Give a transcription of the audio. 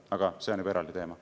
Aga see on juba eraldi teema.